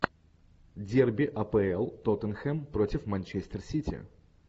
дерби апл тоттенхэм против манчестер сити